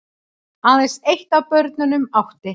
Aðeins eitt af börnunum átti